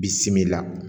Bi simi la